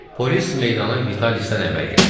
Polis meydana Vitalisdən əvvəl gəldi.